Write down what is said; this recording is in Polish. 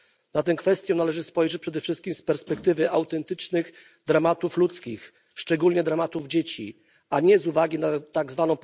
Na tę kwestię należy spojrzeć przede wszystkim z perspektywy autentycznych dramatów ludzkich, szczególnie dramatów dzieci, a nie z uwagi na tzw.